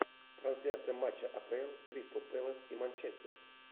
трансляция матча апл кристал пэлас и манчестер